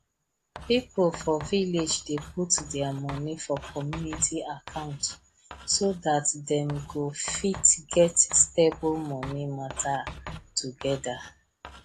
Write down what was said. pipo for village dey put their money for community account so dat them go fit get stable money matter togeda